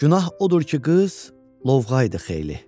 Günah odur ki, qız lovğa idi xeyli.